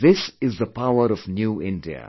This is the power of New India